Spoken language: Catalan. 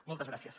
moltes gràcies